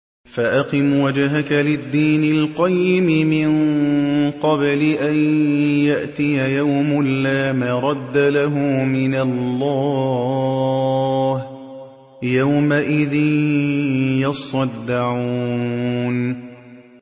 فَأَقِمْ وَجْهَكَ لِلدِّينِ الْقَيِّمِ مِن قَبْلِ أَن يَأْتِيَ يَوْمٌ لَّا مَرَدَّ لَهُ مِنَ اللَّهِ ۖ يَوْمَئِذٍ يَصَّدَّعُونَ